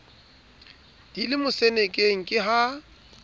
di le mosenekeng ke ha